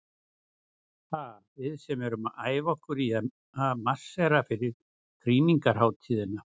Ha, við sem erum að æfa okkur í að marsera fyrir krýningarhátíðina.